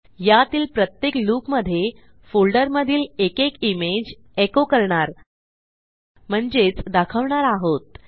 यातील प्रत्येक लूपमधे फोल्डरमधील एकेक इमेज एको करणार म्हणजेच दाखवणार आहोत